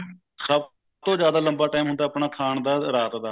ਸਬ ਤੋਂ ਜਿਆਦਾ ਆਪਣਾ ਲੰਬਾ time ਹੁੰਦਾ ਰਾਤ ਦਾ